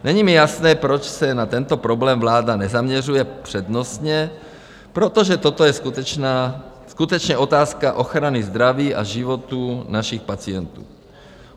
Není mi jasné, proč se na tento problém vláda nezaměřuje přednostně, protože toto je skutečně otázka ochrany zdraví a životů našich pacientů.